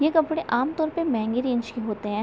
ये कपड़े आमतौर पे महंगे रेंज के होते हैं।